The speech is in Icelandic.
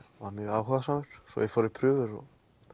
var mjög áhugasamur svo ég fór í prufur og